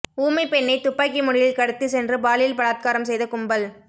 ஊமை பெண்ணை துப்பாக்கி முனையில் கடத்திச் சென்று பாலியல் பலாத்காரம் செய்த கும்பல்